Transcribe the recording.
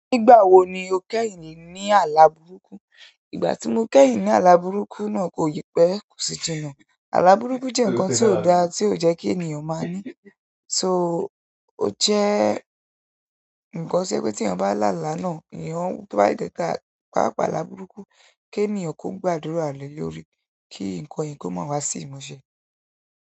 Nígbà wo ni o kẹ́yìn ní àlàbúrúkú? Ìgbà tí mo kẹ́yìn ní àlàbúrúkú náà kò yí pẹ́ kù sí jìnà. Àlàbúrúkú jẹ́ nǹkan tí ò dá tí ò jẹ́ kí ènìyàn máa ní. So, ó jẹ́ nǹkan to jẹ pé tí èèyàn bá lalá náà, èèyàn o, tó bá ta, pàápàá àlàbúrúkú, kí ènìyàn kó gbàdúrà le lórí, kí nǹkan yìí kó má wá sí ìmúṣẹ.